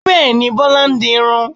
Bẹ́ẹ̀ni, Bọlá ń dirun